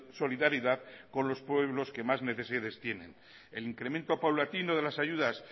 solidaridad con los pueblos que más necesidades tienen el incremento paulatino de las ayudas